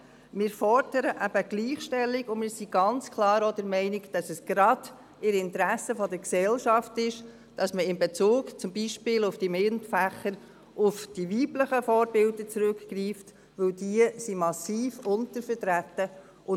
Wir fordern eben die Gleichstellung, und wir sind auch ganz klar der Meinung, dass es gerade im Interesse der Gesellschaft ist, zum Beispiel in Bezug auf die MINT-Fächer auf die weiblichen Vorbilder zurückzugreifen, weil diese massiv untervertreten sind.